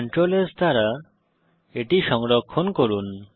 Ctrl S দ্বারা এটি সংরক্ষণ করুন